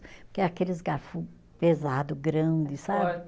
Porque aqueles garfo pesado, grande, sabe?